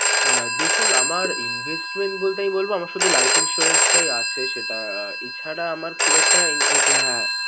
আহ দেখুন আমার investment বলতে বলব আমার শুধু life insurance টাই আছে। সেটা এছাড়া আমার খুব একটা okay হ্যা